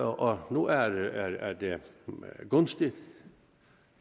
og nu er er det gunstigt